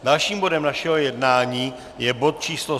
Dalším bodem našeho jednání je bod číslo